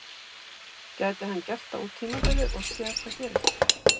Gæti hann gert það út tímabilið og séð hvað gerist?